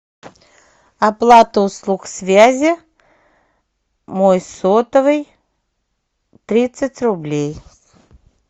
оплата услуг связи мой сотовый тридцать рублей